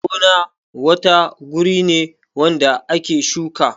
Gona wata guri ne wanda ake shuka